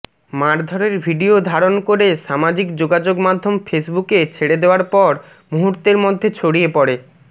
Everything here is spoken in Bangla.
মারধরের ভিডিও ধারণ করে সামাজিক যোগাযোগ মাধ্যম ফেসবুকে ছেড়ে দেওয়ার পর মুহূর্তের মধ্যে ছড়িয়ে পড়ে